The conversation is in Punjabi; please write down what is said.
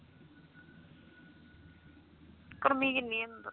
ਗਰਮੀ ਕੀਨੀ ਅੰਦਰ